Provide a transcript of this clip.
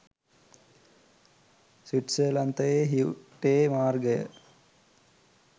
ස්විට්සර්ලන්තයේ හියුටේ මාර්ගය